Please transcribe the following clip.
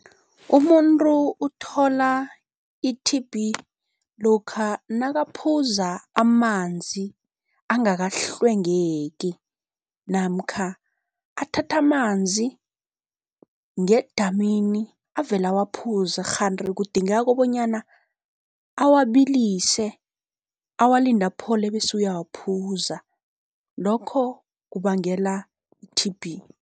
Umuntu uthola i-T_B lokha nakaphuza amanzi angakahlwengeki namkha athathe amanzi ngedamini avele awaphuze, kghanti kudingeka kobonyana awabilise awalinde aphole bese uyawaphuza, lokho kubangela i-T_B.